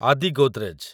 ଆଦି ଗୋଦ୍ରେଜ